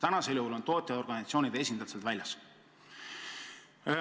Nüüd on tootjaorganisatsioonide esindajad sealt väljas.